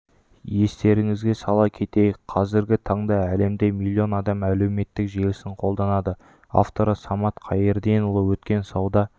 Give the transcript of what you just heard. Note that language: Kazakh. естеріңізге сала кетейік қазіргі таңда әлемде миллион адам әлеуметтік желісін қолданады авторы самат қайырденұлы өткен сауда